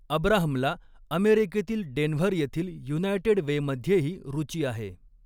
अब्राहमला अमेरिकेतील डेन्व्हर येथील युनायटेड वेमध्येही रुची आहे.